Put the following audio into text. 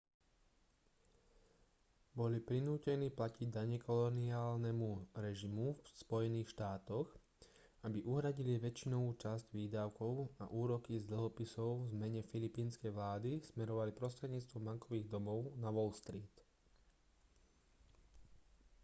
boli prinútení platiť dane koloniálnemu režimu v spojených štátoch aby uhradili väčšinovú časť výdavkov a úroky z dlhopisov v mene filipínskej vlády smerovali prostredníctvom bankových domov na wall street